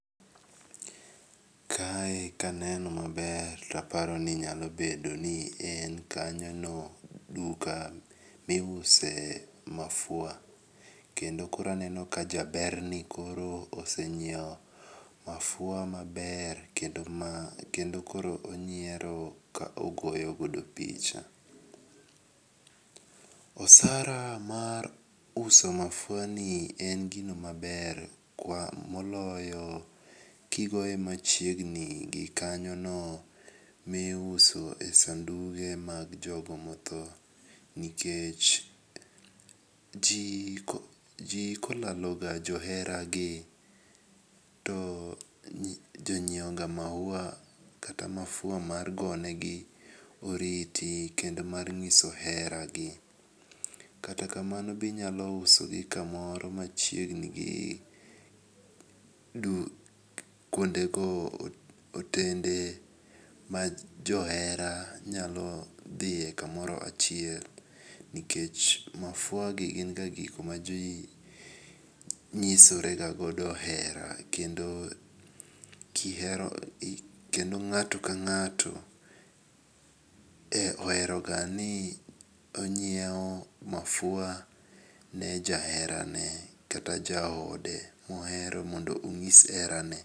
Kae kaneno maber to aparo ni nyalo bedo ni en kanyo no kamiuse mafua kendo koro aneno ka jaberni koro oseng'iewo mafua maber kendo mar kendo koro onyiero ka ogoyo godo picha. Osara mar uso mafuani en gino maber ka moloyo kigoye machiegni gi kanyono miuso e sanduge mag jogo modho nikech ji kokaloga johera gi to ji ng'ieo ga maua kata mafua mar go negi oriti kendo mar nyiso hera gi. Kata kamano binyalo uso gi kamoro machiegni gi kuonde go otende ma johera nyalo dhie kamoro achiel. Nikech mafua gi gin ga gikma ji nyisore ga godo hera, kendo kihero kendo ng'ato ka ng'ato ohero ga ni ong'ieo mafua ne jahera ne kata jaode mohero mondo onyis hera ne.